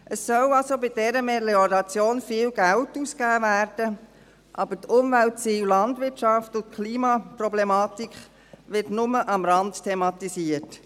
Es soll also bei dieser Melioration viel Geld ausgegeben werden, aber die Umweltziele, die Landwirtschaft und die Klimaproblematik werden nur am Rande thematisiert.